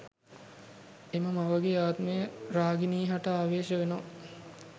එම මවගේ ආත්මය රාගිනී හට ආවේශ වෙනවා